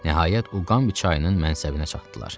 Nəhayət Uqambi çayının mənsəbinə çatdılar.